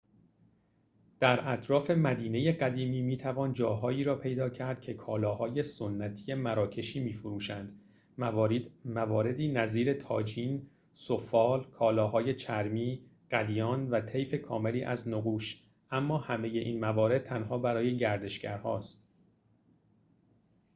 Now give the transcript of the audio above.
در اطراف مدینه قدیمی می‌توان جاهایی را پیدا کرد که کالاهای سنتی مراکشی می‌فروشند مواردی نظیر طاجین سفال کالاهای چرمی قلیان و طیف کاملی از نقوش اما همه این موارد تنها برای گردشگرهاست